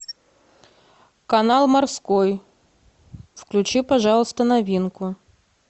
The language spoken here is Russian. канал морской включи пожалуйста новинку